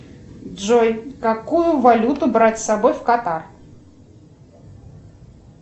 джой какую валюту брать с собой в катар